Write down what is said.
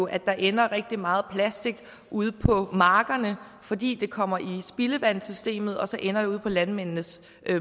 at der ender rigtig meget plastik ude på markerne fordi det kommer i spildevandssystemet og så ender det ude på landmændenes